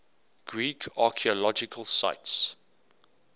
greek archaeological sites